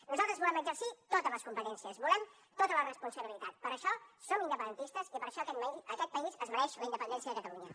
nosaltres volem exercir totes les competències volem tota la responsabilitat per això som independentistes i per això aquest país es mereix la independència de catalunya